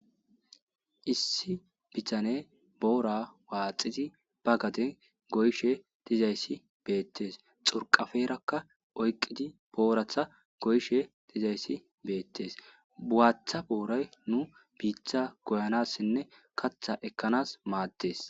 Issi bitanne boora waaxidi ba gaden go7ishe dizayssi betees. xurqqaferakka oyqqidi borathta goyishe dizayssi beetees. Waaththa boora nu biitta goyanaasinne kaththa ekkanas maadees.